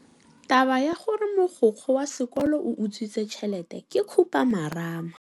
Taba ya gore mogokgo wa sekolo o utswitse tšhelete ke khupamarama.